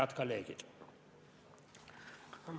Head kolleegid!